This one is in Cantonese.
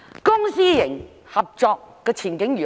公私營合作的前景如何？